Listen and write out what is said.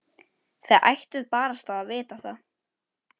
Þið ættuð barasta að vita það.